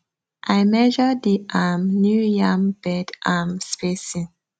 i measure the um new yam bed um spacing